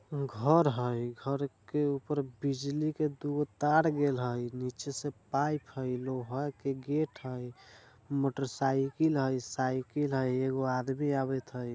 घर हई घर के ऊपर बिजली के दो तार गिल हई नीचे से पाइप हई लोहा का गेट हई मोटर साइकिल हाई साइकिल हाई एगो आदमी आवत हई।